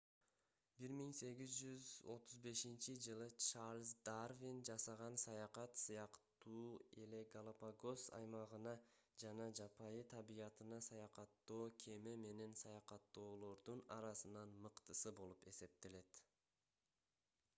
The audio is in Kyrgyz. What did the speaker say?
1835-жылы чарльз дарвин жасаган саякат сыяктуу эле галапагос аймагына жана жапайы табиятына саякаттоо кеме менен саякаттоолордун арасынан мыктысы болуп эсептелет